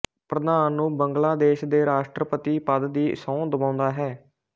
ਪ੍ਰਧਾਨ ਨੂੰ ਬੰਗਲਾਦੇਸ਼ ਦੇ ਰਾਸ਼ਟਰਪਤੀ ਪਦ ਦੀ ਸਹੁੰ ਦਿਵਾਉਂਦਾ ਹੈ